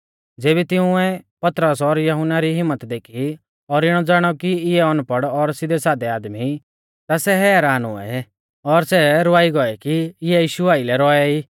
ज़ेबी तिंउऐ पतरस और यहुन्ना री हिम्मत देखी और इणौ ज़ाणौ कि इऐ अनपड़ और सिधैसाधै आदमी ई ता सै हैरान हुऐ और सै रवाई गौऐ कि इऐ यीशु आइलै रौऐ ई